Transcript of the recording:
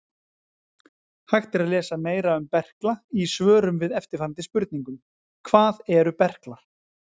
Hægt er að lesa meira um berkla í svörum við eftirfarandi spurningum: Hvað eru berklar?